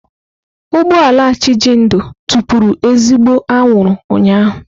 Ụgbọ ala Chijindu tụpụrụ ezigbo anwụrụ ụnyahụ.